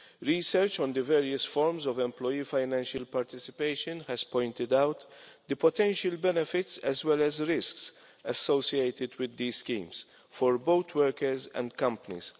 Research on the various forms of employee financial participation has pointed out the potential benefits, as well as the risks, associated with these schemes for both workers and companies.